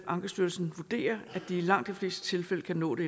ankestyrelsen vurderer at de i langt de fleste tilfælde kan nå det